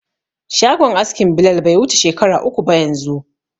Shagon askin Bilal bai wuce shekara uku ba yanzu.